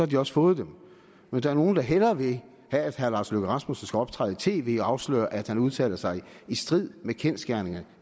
de også fået dem men der er nogle der hellere vil have at herre lars løkke rasmussen skal optræde i tv og afsløre at han udtaler sig i strid med kendsgerningerne